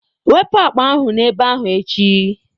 Wepụ akpa ahụ n'ebe ahụ echi!